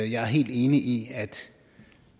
jeg er helt enig i at